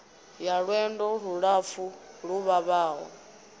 ya lwendo lulapfu lu vhavhaho